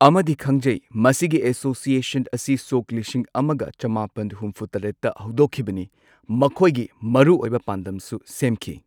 ꯑꯃꯗꯤ ꯈꯪꯖꯩ ꯃꯁꯤꯒꯤ ꯑꯦꯁꯣꯁꯤꯌꯦꯁꯟ ꯑꯁꯤ ꯁꯣꯛ ꯂꯤꯁꯤꯡ ꯑꯃꯒ ꯆꯃꯥꯄꯟ ꯍꯨꯝꯐꯨꯇꯔꯦꯠꯇ ꯍꯧꯗꯣꯛꯈꯤꯕꯅꯤ ꯃꯈꯣꯏꯒꯤ ꯃꯔꯨꯑꯣꯏꯕ ꯄꯥꯟꯗꯝꯁꯨ ꯁꯦꯝꯈꯤ꯫